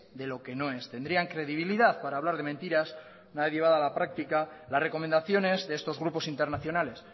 de lo que no es tendrían credibilidad para hablar de mentiras una vez llevada a la práctica las recomendaciones de estos grupos internacionales